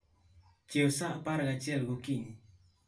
chiewa sa apar gachiel okinyi.